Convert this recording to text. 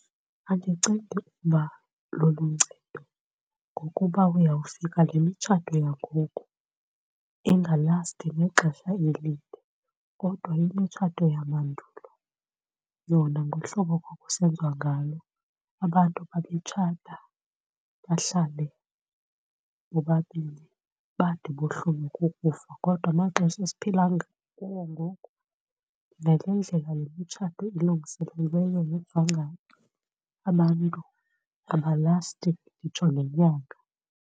Andicingi uba luluncedo ngokuba uyawufika lemitshato yangoku ingalasti nexesha elide kodwa imitshato yamandulo yona ngohlobo ekwakusenziwa ngalo abantu babetshata bahlale bobabini bade bohlulwe kukufa, kodwa amaxesha esiphila kuwo ngoku, nale ndlela yomtshato ilungiselelweyo abantu abalasti nditsho nenyanga.